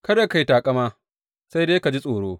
Kada ka yi taƙama, sai dai ka ji tsoro.